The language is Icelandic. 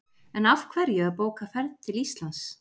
En af hverju að bóka ferð til Íslands?